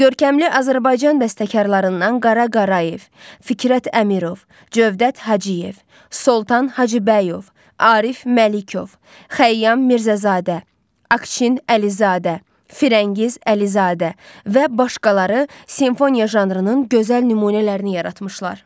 Görkəmli Azərbaycan bəstəkarlarından Qara Qarayev, Fikrət Əmirov, Cövdət Hacıyev, Soltan Hacıbəyov, Arif Məlikov, Xəyyam Mirzəzadə, Akşin Əlizadə, Firəngiz Əlizadə və başqaları simfoniya janrının gözəl nümunələrini yaratmışlar.